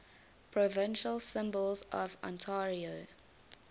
provincial symbols of ontario